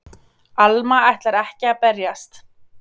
Alma ætlar ekki að berjast.